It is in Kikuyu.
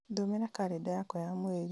thomera karenda yakwa ya mweri